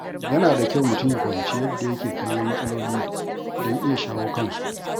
Yana da kyau mutum ya fahimci yadda yake kallon matsaloli don iya shawo kansu.